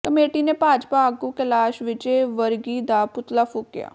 committee ਨੇ ਭਾਜਪਾ ਆਗੂ Kailash Vijayvargiya ਦਾ ਪੁਤਲਾ ਫੂਕਿਆ